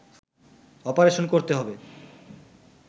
operation করতে হবে